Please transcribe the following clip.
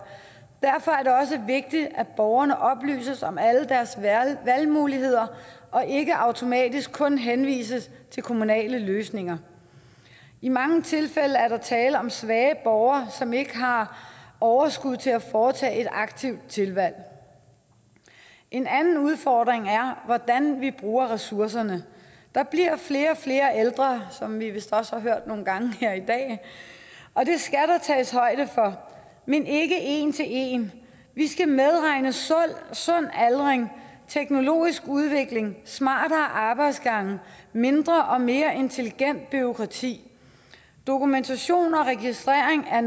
derfor er det også vigtigt at borgerne oplyses om alle deres valgmuligheder og ikke automatisk kun henvises til kommunale løsninger i mange tilfælde er der tale om svage borgere som ikke har overskud til at foretage et aktivt tilvalg en anden udfordring er hvordan vi bruger ressourcerne der bliver flere og flere ældre som vi vist også har hørt nogle gange her i dag og det skal der tages højde for men ikke en til en vi skal medregne sund aldring teknologisk udvikling smartere arbejdsgange og mindre og mere intelligent bureaukrati dokumentation og registrering er